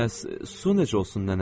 Bəs su necə olsun nənə?